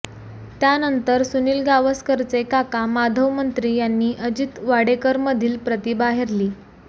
त्यानंतर सुनिल गावसकरचे काका माधव मंत्री यांनी अजित वाडेकरमधील प्रतिभा हेरली